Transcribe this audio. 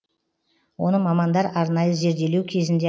оны мамандар арнайы зерделеу кезінде